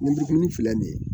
Ninmurukumuni filɛ nin ye